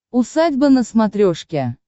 усадьба на смотрешке